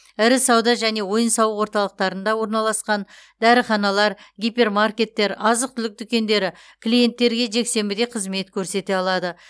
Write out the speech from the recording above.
ірі сауда және ойын сауық орталықтарында орналасқан дәріханалар гипермаркеттер азық түлік дүкендері клиенттерге жексенбіде қызмет көрсете алады